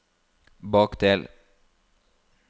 bakdel